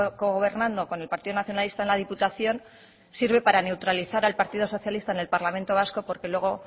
cogobernando con el partido nacionalista en la diputación sirve para neutralizar al partido socialista en el parlamento vasco porque luego